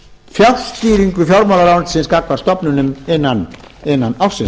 tekið á fjárstýringu fjármálaráðuneytisins gagnvart stofnunum innan ársins